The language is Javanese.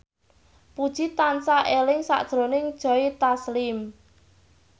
Puji tansah eling sakjroning Joe Taslim